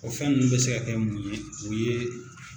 O fɛn ninnu bɛ se ka kɛ mun ye o ye